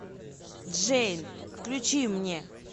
джейн включи мне